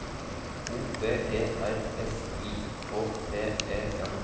O V E R S I K T E N